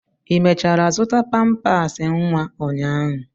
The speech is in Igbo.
ị mechara zụta pampasị nwa ụnyaahụ?